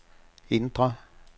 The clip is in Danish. indre